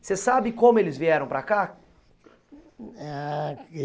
Você sabe como eles vieram para cá? Ah